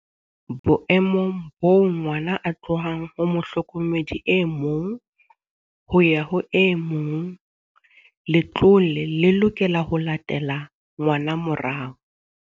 Boemong boo ngwana a tlohang ho mohlokomedi e mong ho ya ho e mong, letlole le lokela ho latela ngwana morao.